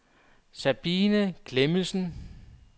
Sabine Klemmensen